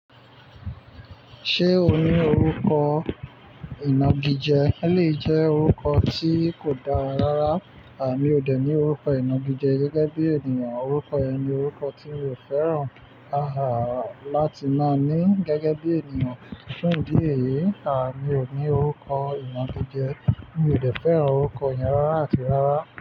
Ṣé o ní orúkọ ìnagijẹ? Ó lè jẹ́ orúkọ tí kò dára rara. Mi ò dẹ̀ ní orúkọ ìnagijẹ gẹ́gẹ́ bí ènìyàn. Orúkọ yẹn ni orúkọ tí mi ò fẹ́ràn láti máa ní gẹ́gẹ́ bí ènìyàn. Fún ìdí èyí, àmi ò ní orúkọ ìnagijẹ. Mi ò dẹ̀ fẹ́ràn orúkọ yẹn rárá àti rárá.